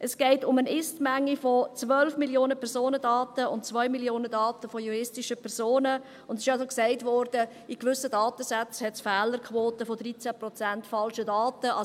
Es geht um eine Ist-Menge von 12 Mio. Personendaten und 2 Mio. Daten juristischer Personen, und es wurde gesagt, dass es in gewissen Datensätzen Fehlerquoten von 13 Prozent falscher Daten gibt.